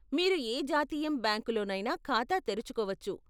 మీరు ఏ జాతీయం బ్యాంకులోనైనా ఖాతా తెరుచుకోవచ్చు.